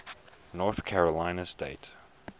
north carolina state